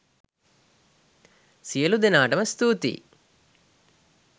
සියළු දෙනාටම ස්තුතියි